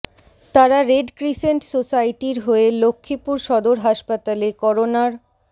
তারা red crescent সোসাইটির হয়ে লক্ষ্মীপুর সদর হাসপাতালে করোনার